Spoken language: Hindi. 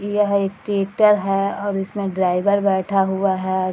यह एक ट्रैक्टर है और इसमें ड्राइवर बैठा हुआ है।